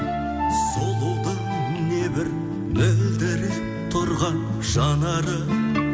сұлудың небір мөлдіреп тұрған жанары